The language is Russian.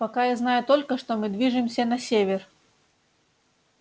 пока я знаю только что мы движемся на север